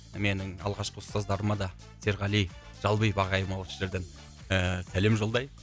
менің алғашқы ұстаздарыма да серғали жалбиев ағайыма осы жерден ііі сәлем жолдайық